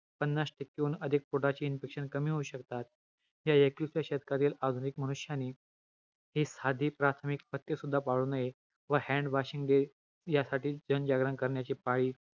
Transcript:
अन्न व स्त्रोतामध्ये म्हणजेच कामाशी ग्रहणी पकवाशयामध्ये अन्नपचन झाल्यावर आहाराच्या सारभागाची म्हणजेच आहार रसाचे शोषण पकवाशयातुन रस रक्तात मध्ये होते .